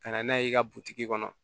Ka na n'a ye i ka butigi kɔnɔ